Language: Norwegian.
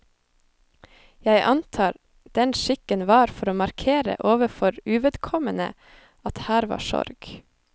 Jeg antar den skikken var for å markere overfor uvedkommende at her var sorg.